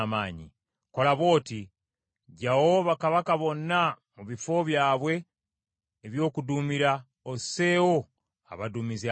Kola bw’oti, ggyawo bakabaka bonna mu bifo byabwe eby’okuduumira, osseewo abaduumizi abalala.